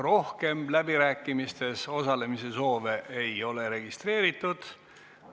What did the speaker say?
Rohkem läbirääkimistes osalemise soovi ei ole registreeritud.